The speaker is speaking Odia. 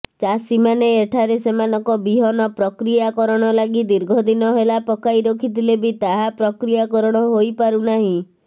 ଚାଷୀମାନେ ଏଠାରେ ସେମାନଙ୍କ ବିହନ ପ୍ରକ୍ରିୟାକରଣ ଲାଗି ଦୀର୍ଘଦିନ ହେଲା ପକାଇ ରଖିଥିଲେ ବି ତାହା ପ୍ରକ୍ରିୟାକରଣ ହୋଇପାରୁନାହି